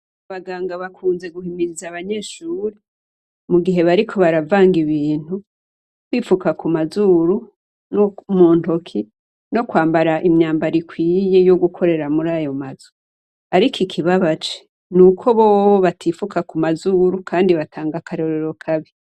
Abaganga bakunze guhimiriza Abanyeshure, mugihe bariko baravanga ibintu, kwifuka kumazuru nomuntoki, nokwambara imyambaro ikwiye yogukorera muraho mazu. Ariko ikibabaje, nuko bobo batifuka kumazuru, kandi batanga akarorero kabi.